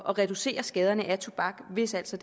reducere skaderne af tobak hvis altså